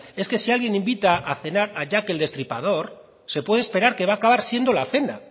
es que si alguien invita a cenar a jack el destripador se puede esperar que va a acabar siendo la cena